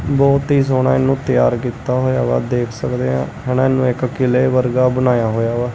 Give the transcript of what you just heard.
ਬਹੁਤ ਹੀ ਸੋਹਣਾ ਇਹਨੂੰ ਤਿਆਰ ਕੀਤਾ ਹੋਇਆ ਵਾ ਦੇਖ ਸਕਦੇ ਆਂ ਹਨਾ ਇਹਨੂੰ ਇੱਕ ਕਿਲੇ ਵਰਗਾ ਬਣਾਇਆ ਹੋਇਆ ਵਾ।